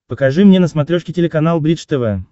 покажи мне на смотрешке телеканал бридж тв